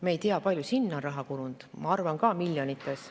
Me ei tea, kui palju sinna on raha kulunud, ma arvan, et ka miljonites.